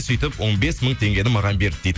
сөйтіп он бес мың теңгені маған берді дейді